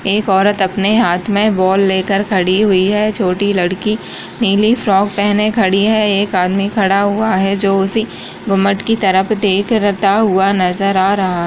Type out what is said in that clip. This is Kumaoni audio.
एक औरत अपने हाथ में बॉल लेकर खड़ी हुई है छोटी लड़की नीली फ्राक पहने खड़ी है एक आदमी खड़ा हुआ है जो उसी गुम्बद की तरफ देख रता हुआ नजर आ रहा --